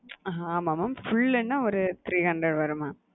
ஆமாம் mam full னா ஒரு three hundred வரும் mam.